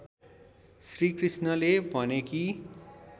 श्रीकृष्णले भने कि